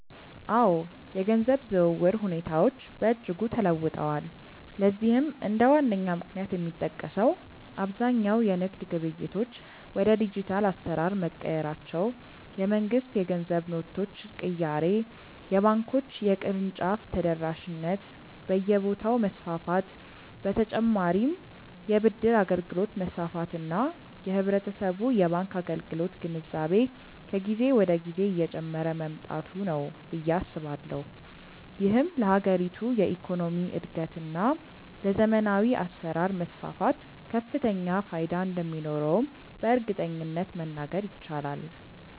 አዎ፣ የገንዘብ ዝውውር ሁኔታዎች በእጅጉ ተለውጠዋል። ለዚህም እንደ ዋነኛ ምክንያት የሚጠቀሰው አብዛኛው የንግድ ግብይቶች ወደ ዲጂታል አሰራር መቀየራቸው፣ የመንግስት የገንዘብ ኖቶች ቅያሬ፣ የባንኮች የቅርንጫፍ ተደራሽነት በየቦታው መስፋፋት በ ተጨማርም የ ብድር አገልግሎት መስፋፋት እና የህብረተሰቡ የባንክ አገልግሎት ግንዛቤ ከጊዜ ወደ ጊዜ እየጨመረ መምጣቱ ነው ብዬ አስባለሁ። ይህም ለሀገሪቱ የኢኮኖሚ እድገት እና ለዘመናዊ አሰራር መስፋፋት ከፍተኛ ፋይዳ እንደሚኖረውም በእርግጠኝነት መናገር ይቻላል።